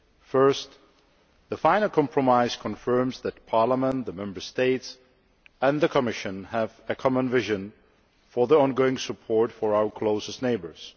Firstly, the final compromise confirms that Parliament, the Member States and the Commission have a common vision for ongoing support for our closest neighbours.